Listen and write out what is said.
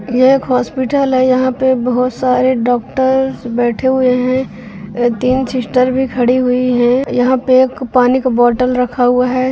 यह एक हॉस्पिटल है| यहाँ पे बहुत सारे डॉक्टर्स बैठे हुए हैं तीन सिस्टर्स भी खड़ी हुई हैं| यहाँ पे एक पानी का बोतल रखा हुआ है।